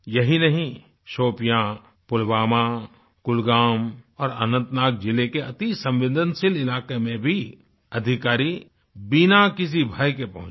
यही नहीं शोपियां पुलवामा कुलगाम और अनंतनाग जिले के अति संवेदनशील इलाके में भी अधिकारी बिना किसी भय के पहुँचे